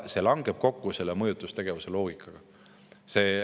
See langeb kokku mõjutustegevuse loogikaga.